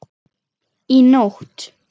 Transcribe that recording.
Í nótt?